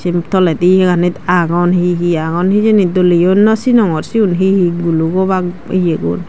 eun toledi eyganit agon he he agon hejeni doleyo no sinongor siyon he he gulok obak yegun.